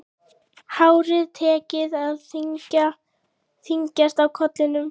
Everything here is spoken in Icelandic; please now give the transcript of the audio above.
Hárið tekið að þynnast á kollinum.